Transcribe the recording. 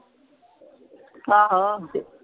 ਆਹੋ।